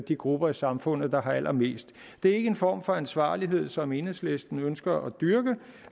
de grupper i samfundet der har allermest det er ikke en form for ansvarlighed som enhedslisten ønsker at dyrke